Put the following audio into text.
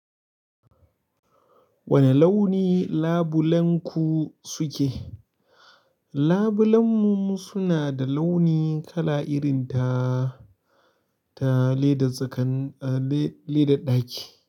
Wani launi labulenku suke? Labulen mu suna da launi kala irin daa-ta ledan sukan -le ledan ɗaki,